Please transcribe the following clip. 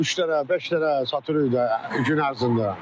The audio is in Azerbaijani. Üç dənə, beş dənə satırıq da gün ərzində.